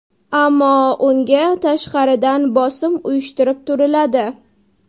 Ammo unga tashqaridan bosim uyushtirib turiladi.